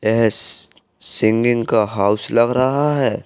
S singing का house लग रहा है।